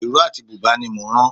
Ìró àti bùbá ní mò ń ran